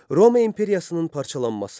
Roma imperiyasının parçalanması.